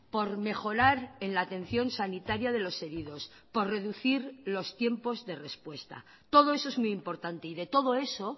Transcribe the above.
por mejorar en la atención sanitaria de los heridos por reducir los tiempos de respuesta todo eso es muy importante y de todo eso